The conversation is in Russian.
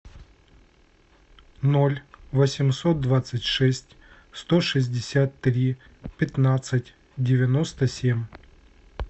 ноль восемьсот двадцать шесть сто шестьдесят три пятнадцать девяносто семь